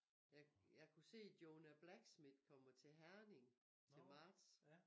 Jeg jeg kunne se Jonah Blacksmith kommer til Herning til marts